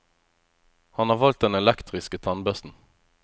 Han har valgt den elektriske tannbørsten.